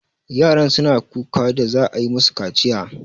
Yaran suna ta kuka da za'a yi musu kaciya.